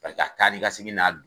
Paseke a taa ni ka segin n'a